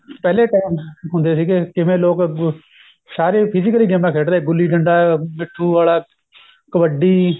ਪਹਿਲੇ time ਹੁੰਦੇ ਸੀਗੇ ਜਿਵੇਂ ਲੋਕ ਗੁ ਸਾਰੇ physically ਗੇਮਾ ਖੇਡ ਰਹੇ ਗੁਲੀ ਡੰਡਾ ਪਿੱਠੁ ਵਾੜਾ ਕਬੱਡੀ